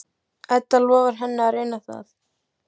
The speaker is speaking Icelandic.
Edda lofar henni að reyna það.